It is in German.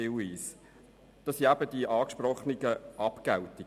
Hier handelt es sich um die angesprochenen Abgeltungen.